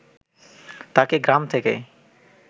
তাকে গ্রাম থেকে